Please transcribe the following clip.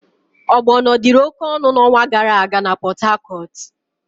Ogbono dịri oke ọnụ n'ọnwa gara aga na Pot-Hacortu.